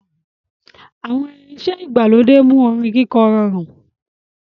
Àwọn irinṣẹ́ ìgbàlódé mú orin kíkọ rọrùn.